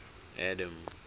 adam